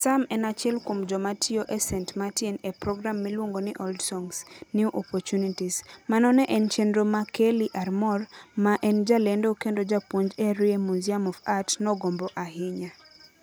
Sam en achiel kuom joma tiyo e St. Martin e program miluongo ni Old Songs, New Opportunities. Mano ne en chenro ma Kelly Armor, ma en jalendo kendo japuonj e Erie Museum of Art, nogombo ahinya.